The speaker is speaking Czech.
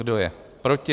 Kdo je proti?